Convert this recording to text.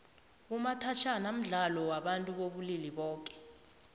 umathajhana mdlalo wabantu bobulili boke